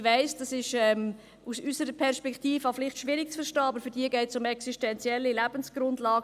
Ich weiss, das ist aus unserer Perspektive etwas schwierig zu verstehen, aber für sie geht es um existenzielle Lebensgrundlagen.